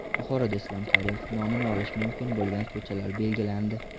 Buxoroda Islom Karimov nomini olishi mumkin bo‘lgan ko‘chalar belgilandi.